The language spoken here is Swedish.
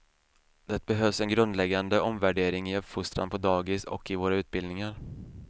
Det behövs en grundläggande omvärdering i uppfostran på dagis och i våra utbildningar.